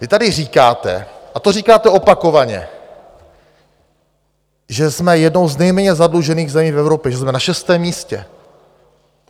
Vy tady říkáte, a to říkáte opakovaně, že jsme jednou z nejméně zadlužených zemí v Evropě, že jsme na šestém místě.